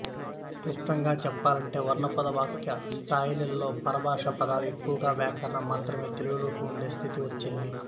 క్లుప్తంగా చెప్పాలంటే వర్ణ పద వాక్య స్థాయిలలో పరభాషా పదాలు ఎక్కువై వ్యాకరణం మాత్రమే తెలుగులో ఉండే స్థితి వచ్చింది